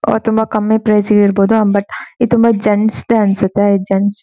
ಅವು ತುಂಬಾ ಕಮ್ಮಿ ಪ್ರೈಸ್ ಗೆ ಇರಬಹುದು. ಬಟ್ ಇದು ಜೆಂಟ್ಸ್ ದೇ ಅನ್ಸುತ್ತೆ. ಈದ್ ಜೆಂಟ್ಸ್ --